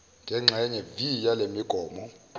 zengxenye viii yalemigomo